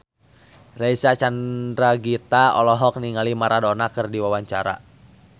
Reysa Chandragitta olohok ningali Maradona keur diwawancara